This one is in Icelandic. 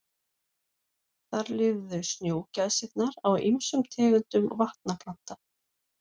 Þar lifðu snjógæsirnar á ýmsum tegundum vatnaplantna.